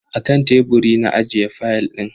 Akan teburi na ajiye fayal din.